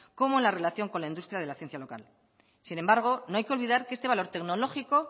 como en relación con la industria de la ciencia local sin embargo no hay que olvidar que este valor tecnológico